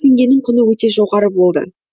теңгенің құны өте жоғары болды